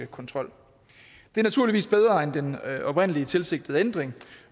kontrol det er naturligvis bedre end den oprindelige tilsigtede ændring